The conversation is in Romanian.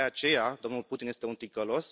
De aceea domnul Putin este un ticălos.